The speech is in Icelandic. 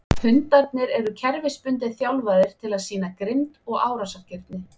Hundarnir eru kerfisbundið þjálfaðir til að sýna grimmd og árásargirni.